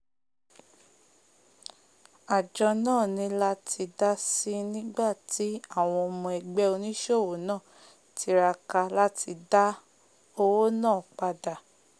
ájo náà ní láti dásì nígbàtí àwon ọmọ ẹgbẹ́ onísòwò náà tiraka láti dá owó náà padà